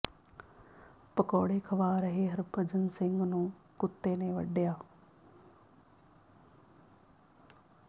ਪਕੌੜੇ ਖਵਾ ਰਹੇ ਹਰਭਜਨ ਸਿੰਘ ਨੂੰ ਕੁੱਤੇ ਨੇ ਵੱਡਿਆ